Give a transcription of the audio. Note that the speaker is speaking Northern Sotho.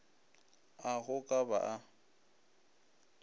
a go ka ba a